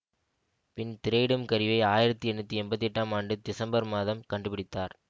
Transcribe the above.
பின் திரையிடும் கருவியை ஆயிரத்தி எண்ணூற்றி எம்பத்தி எட்டாம் ஆண்டு திசம்பர் மாதம் கண்டுபிடித்தார்